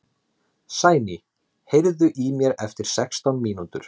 Sæný, heyrðu í mér eftir sextán mínútur.